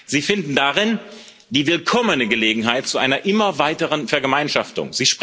Sie finden darin die willkommene Gelegenheit zu einer immer weiteren Vergemeinschaftung.